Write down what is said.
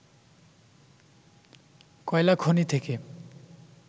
কয়লা খনি থেকে